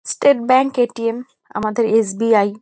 State bank ATM. আমাদের SBI..